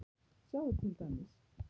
Sjáðu til dæmis